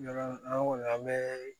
An kɔni an bɛ